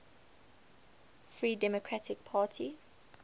free democratic party